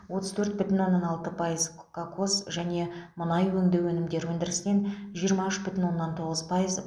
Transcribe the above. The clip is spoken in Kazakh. отыз төрт бүтін оннан алты пайыз кокос және мұнай өңдеу өнімдері өндірісінен жиырма үш бүтін оннан тоғыз пайыз